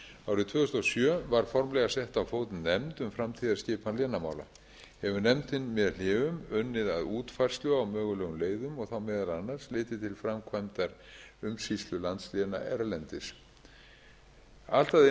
árið tvö þúsund og sjö var formlega sett á fót nefnd um framtíðarskipan vinnumála hefur nefndin með hléum unnið að útfærslu á mögulegum leiðum og þá meðal annars litið til framkvæmdar umsýslu landsléna erlendis allt að einu